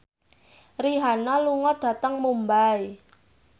Rihanna lunga dhateng Mumbai